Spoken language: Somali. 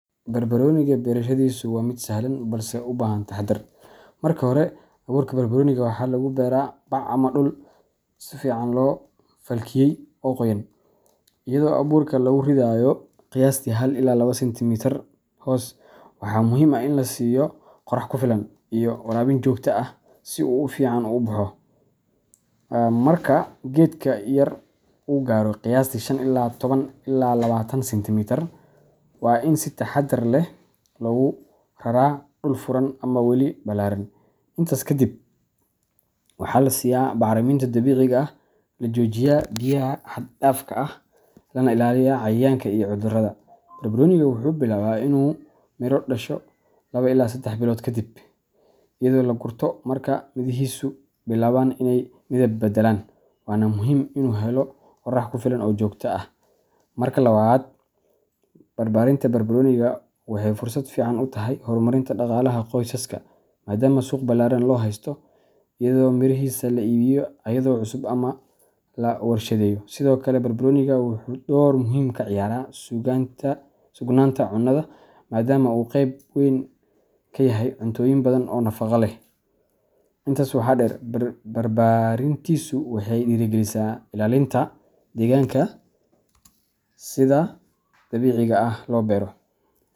Barbaroniga berashadiisu waa mid sahlan balse u baahan taxadar. Marka hore, abuurka barbaroniga waxaa lagu beeraa bac ama dhul si fiican loo falkiyay oo qoyan, iyadoo abuurka lagu ridayo qiyaastii hal iyo labo sentimitar hoos. Waxaa muhiim ah in la siiyo qorax ku filan iyo waraabin joogto ah si uu si fiican u baxo. Marka geedka yar uu gaaro qiyaastii shan iyo toban ila labatan sentimitar, waa in si taxadar leh loogu raraa dhul furan ama weel ballaaran. Intaas kadib, waxaa la siiyaa bacriminta dabiiciga ah, la joojiyaa biyaha xad dhaafka ah, lana ilaaliyaa cayayaanka iyo cudurada. Barbaroniga wuxuu bilaabaa inuu miro dhasho laba ila sedex bilood kadib, iyadoo la gurto marka midhihiisu bilaabaan inay midab beddelaan. Waana muhim inu helo orax kufilan oo jogta ah . Marka labaad, barbaarinta barbaroniga waxay fursad fiican u tahay horumarinta dhaqaalaha qoysaska, maadaama suuq ballaaran loo haysto, iyadoo mirihiisa la iibiyo ayadoo cusub ama la warshadeeyo. Sidoo kale, barbaroniga, wuxuu door muhiim ah ka ciyaaraa sugnaanta cunnada, maadaama uu qayb ka yahay cuntooyin badan oo nafaqo leh. Intaa waxaa dheer, barbaarintiisu waxay dhiirigelisaa ilaalinta deegaanka haddii si dabiici ah loo beero.